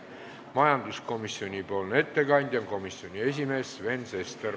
Majanduskomisjoni nimel teeb ettekande komisjoni esimees Sven Sester.